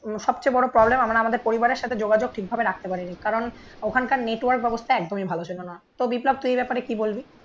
সবচেয়ে বড় প্রবলেম আমরা আমাদের পরিবারের সাথে যোগাযোগ ঠিক ভাবে রাখতে পারিনি কারণ ওখানকার নেটওয়ার্ক ব্যবস্থা একদমই ভালো ছিল না তো বিপ্লব তুই এই ব্যাপারে কি বলবি